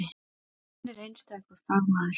Hann er einstakur fagmaður.